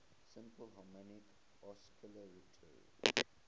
simple harmonic oscillator